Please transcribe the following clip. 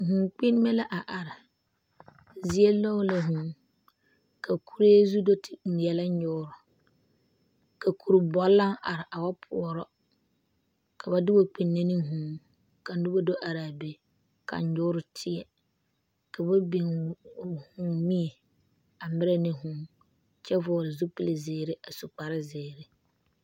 Vûū kpinnime la a are zie nyɔge la vûū ka kuree zu do te ŋmeɛlɛ nyoore ka kuri bɔle naŋ are a wa poɔro ka ba te wa kpinne ne vûū ka noba do ara be ka nyoore tie ka ba biŋ mie a perɛ ne vûû kyɛ vɔgele zupile zeere a yɛrɛ kparre zeere